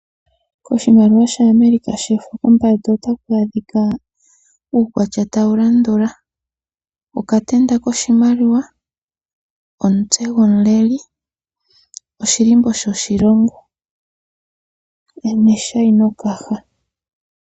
Oshimaliwa shaAmerica pombanda ota pu adhika uukwatya tawu landula: okatenda koshimaliwa, omutse gomuleli, oshilimbo shoshilongo neshaino kaha.